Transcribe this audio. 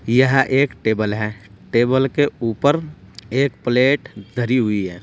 यह एक टेबल है टेबल के ऊपर एक प्लेट धरी हुई है।